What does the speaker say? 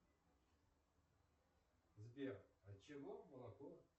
сбер отчего молоко